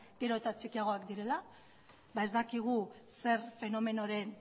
gero eta txikiagoak direla ez dakigu zer fenomenoaren